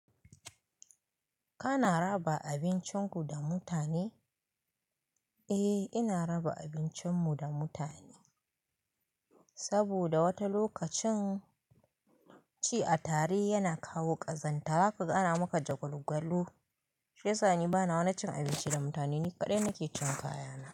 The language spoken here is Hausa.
Kana raba abincin ku da mutane? Eh ina raba abincinmu da mutane, saboda wata lokacin ci a tare yana kawo ƙazanta zaka ga ana maka jagwalgwalu. Shi ya sa ni bana wani cin abinci da mutane, ni kaɗai nake cin kayana.